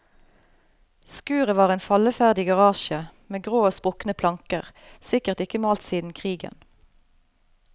Skuret var en falleferdig garasje med grå og sprukne planker, sikkert ikke malt siden krigen.